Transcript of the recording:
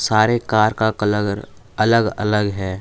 सारे कार का कलर अलग अलग है।